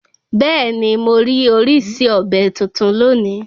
Bẹ́ẹ̀ni morí orísìí ọ̀bẹ́ titun lónìí